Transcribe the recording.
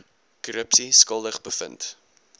korrupsie skuldig bevind